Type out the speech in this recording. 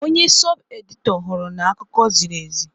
Onye sọb-edịtọr hụrụ n'akụkọ ziri ezi.